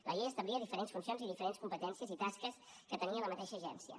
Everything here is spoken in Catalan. la llei establia diferents funcions i diferents competències i tasques que tenia la mateixa agència